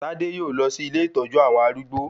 Tádé yóò lọ sí ilé ìtọ́jú àwọn arúgbó